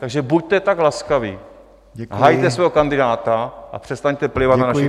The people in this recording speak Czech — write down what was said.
Takže buďte tak laskavi, hajte svého kandidáta a přestaňte plivat na naši kandidátku.